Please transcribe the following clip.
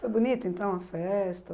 Foi bonita, então, a festa?